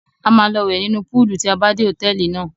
A máa lọ wẹ̀ nínú púúlù tí a bá dé hòtẹ́ẹ́lì náà.